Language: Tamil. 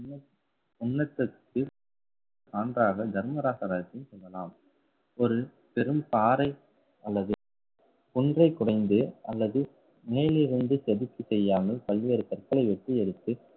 சான்றாக தர்மராச ரதத்தை சொல்லலாம் ஒரு பெரும் பாறை அல்லது குன்றை குடைந்து அல்லது மேலிருந்து செதுக்கி செய்யாமல் பல்வேறு கற்களை வெட்டி எடுத்து